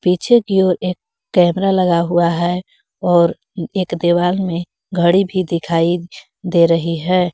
पीछे की ओर एक कैमरा लगा हुआ हैं और एक दीवार में घड़ी भी दिखाई दे रही हैं।